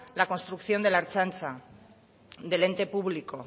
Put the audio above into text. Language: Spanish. la construcción de la ertzaintza del ente público